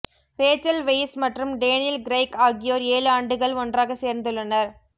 Rachel Weisz மற்றும் Daniel Craig ஆகியோர் ஏழு ஆண்டுகள் ஒன்றாக சேர்ந்துள்ளனர்